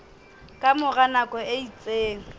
ka mora nako e itseng